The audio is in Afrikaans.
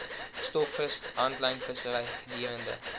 stokvis handlynvissery gedurende